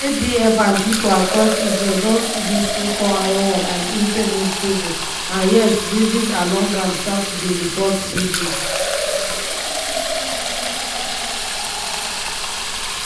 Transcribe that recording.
idf and pipo across israel don see dis so called iron wall as impenetrable and yet bases along am start to dey report breaches.